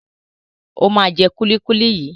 Ó máa jẹ kúlíkúlí yìí.